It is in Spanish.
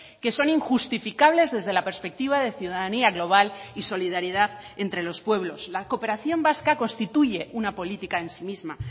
que son injustificables desde la perspectiva de ciudadanía global y solidaridad entre los pueblos la cooperación vasca constituye una política en sí misma